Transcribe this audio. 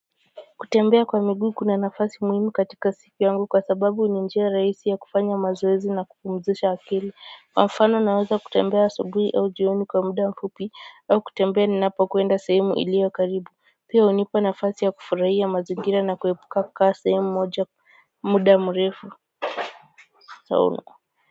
Kutembea kwa miguu kuna nafasi muhimu katika siku yangu kwa sababu ni njia rahisi ya kufanya mazoezi na kupumzisha akili. Kwa mfano naweza kutembea asubuhi au jioni kwa muda mfupi au kutembea ninapokwenda sehemu iliyo karibu, pia hunipa nafasi ya kufurahia mazingira na kuepuka kukaa sehemu moja muda mrefu sana.